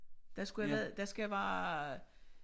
Der skulle have været der skal være